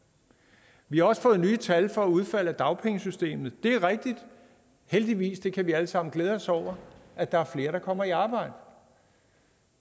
vi har også fået nye tal for udfald af dagpengesystemet det er rigtigt heldigvis det kan vi alle sammen glæde os over at der er flere der kommer i arbejde